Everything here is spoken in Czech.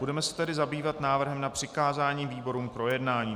Budeme se tedy zabývat návrhem na přikázání výborům k projednání.